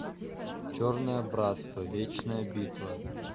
черное братство вечная битва